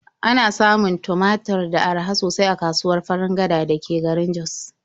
Ana samun tumatur sa araha sosai a kasuwar Farin Gada da ke garin Jos.